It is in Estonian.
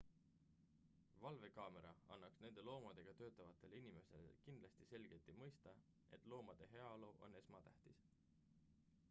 """valvekaamera annaks nendele loomadega töötavatele inimestele kindlasti selgelt mõista et loomade heaolu on esmatähtis.""